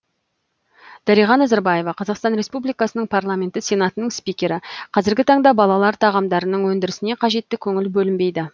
дариға назарбаева қазақстан республикасының парламенті сенатының спикері қазіргі таңда балалар тағамдарының өндірісіне қажетті көңіл бөлінбейді